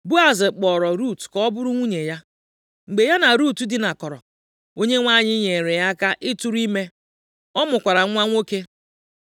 Boaz kpọọrọ Rut ka ọ bụrụ nwunye ya. Mgbe ya na Rut dinakọrọ, Onyenwe anyị nyeere ya aka ịtụrụ ime. Ọ mụkwara nwa nwoke.